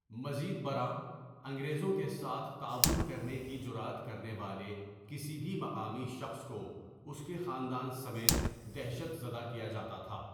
مزید برآں، انگریزوں کے ساتھ تعاون کرنے کی جرات کرنے والے کسی بھی مقامی شخص کو اس کے خاندان سمیت دہشت زدہ کیا جاتا تھا۔